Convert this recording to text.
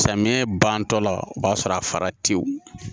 Samiyɛ bantɔla o b'a sɔrɔ a fara teyi